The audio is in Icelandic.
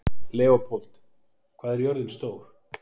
Leópold, hvað er jörðin stór?